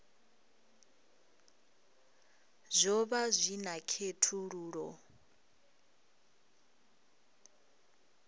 zwo vha zwi na khethululoe